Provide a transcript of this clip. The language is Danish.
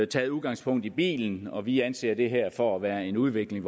taget udgangspunkt i bilismen og vi anser det her for at være en udvikling